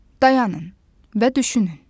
Dayanın və düşünün.